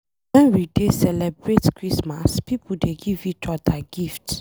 Wen we dey celebrate Christmas, pipo dey give each odir gift.